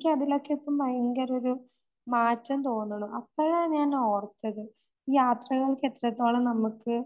എനിക്കതിലൊക്കെയിപ്പം ഭയങ്കരം ഒരു മാറ്റം തോന്നണു. അപ്പഴാ ഞാനോർത്തത് ഈ യാത്രകൾക്ക് എത്രത്തോളം നമുക്ക്